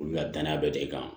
Olu ka danaya bɛ de kan